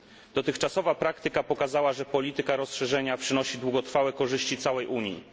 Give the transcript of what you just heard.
Dotychczasowa praktyka pokazała, że polityka rozszerzenia przynosi długotrwałe korzyści całej Unii.